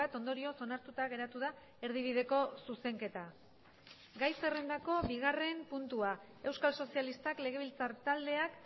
ondorioz onartuta geratu da erdibideko zuzenketa gai zerrendako bigarren puntua euskal sozialistak legebiltzar taldeak